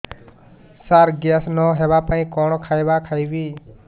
ସାର gas ନ ହେବା ପାଇଁ କଣ ଖାଇବା ଖାଇବି